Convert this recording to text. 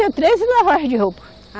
tinha treze lavagens de roupa.